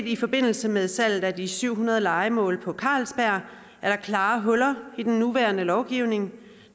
i forbindelse med salget af de syv hundrede lejemål på carlsberg at der klart er huller i den nuværende lovgivning